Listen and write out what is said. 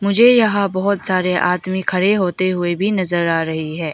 मुझे यहां बहोत सारे आदमी खड़े होते हुए भी नजर आ रही है।